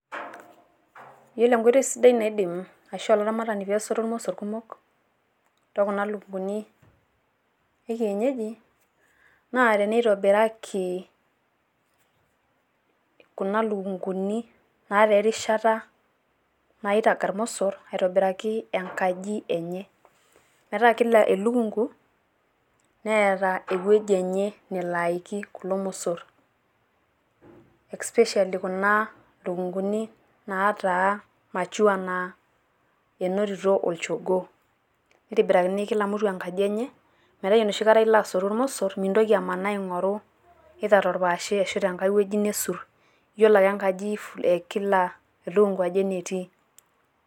iyiolo enkoitoi sidai naaidim ashu olaramatak pee esotu irmosor kumok ashu kuna lukunkuni, ekienyeji, naa teneitobiraki, kuna lukunguni naata erishata, nairag irmosor aitobiraki enkaji enye, metaa kila elukunku neeta ewueji enye. nelo aiki kulo mosor, especially kuna lukunkuni naataa mature naatayioloito olchogoo. metaa ore enoshi kata ilo aing'oru irmosor iyiolo ake kila enkaji enetii.